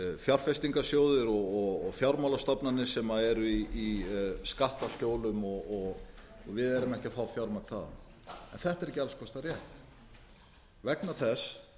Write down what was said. fjárfestingarsjóðir og fjármálastofnanir sem eru í skattaskjólum og við erum ekki að fá fjármagn þaðan þetta er ekki alls kostar rétt vegna þess